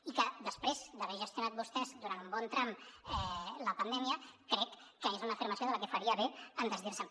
i que després d’haver gestionat vostès durant un bon tram la pandèmia crec que és una afirmació de la que faria bé de desdir se’n